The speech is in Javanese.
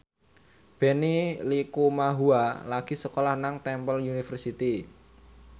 Benny Likumahua lagi sekolah nang Temple University